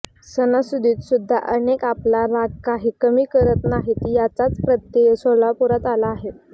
सणासुदीत सुद्धा अनेक आपला राग काही कमी करत नाहीत याचाच प्रत्येय सोलापुरात आला आहे